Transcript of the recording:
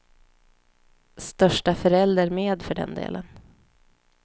Största förälder med för den delen.